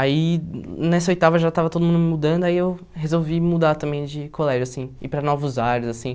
Aí, nessa oitava, já estava todo mundo mudando, aí eu resolvi mudar também de colégio, assim, ir para novos ares, assim.